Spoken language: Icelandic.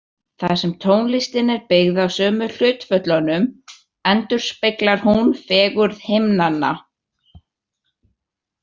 Þar sem tónlistin er byggð á sömu hlutföllunum endurspeglar hún fegurð himnanna.